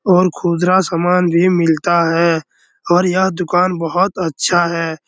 और खुदरा सामान भी मिलता है और यह दुकान बहुत अच्छा है।